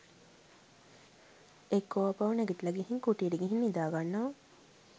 එක්කො ආපහු නැගිටල ගිහින් කුටියට ගිහින් නිදාගන්නව